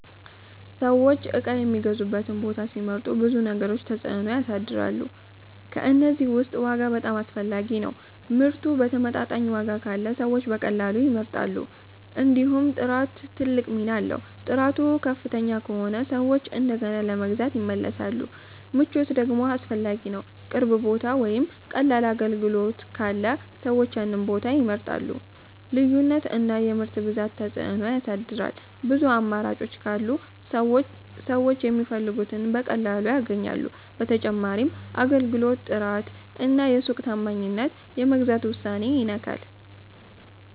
ሰዎች ነገር የሚገዙበትን ቦታ ሲመርጡ ብዙ ነገሮች ተጽዕኖ ያሳድራሉ። ከእነዚህ ውስጥ ዋጋ በጣም አስፈላጊ ነው፤ ምርቱ በተመጣጣኝ ዋጋ ካለ ሰዎች በቀላሉ ይመርጣሉ። እንዲሁም ጥራት ትልቅ ሚና አለው፤ ጥራቱ ከፍ ከሆነ ሰዎች እንደገና ለመግዛት ይመለሳሉ። ምቾት ደግሞ አስፈላጊ ነው፣ ቅርብ ቦታ ወይም ቀላል አገልግሎት ካለ ሰዎች ያንን ቦታ ይመርጣሉ። ልዩነት እና የምርት ብዛትም ተጽዕኖ ያሳድራል፤ ብዙ አማራጮች ካሉ ሰዎች የሚፈልጉትን በቀላሉ ያገኛሉ። በተጨማሪም የአገልግሎት ጥራት እና የሱቅ ታማኝነት የመግዛት ውሳኔን ይነካል።